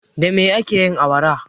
Da me ake yin awara?